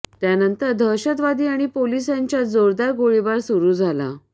त्यानंतर दहशतवादी आणि पोलिस यांच्याज जोरदार गोळीबार सुरु झाला